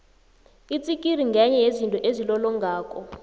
itsikiri ngenye yezinto ezilolongako